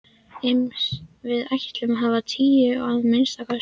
Iss. við ætlum að hafa tíu, að minnsta kosti.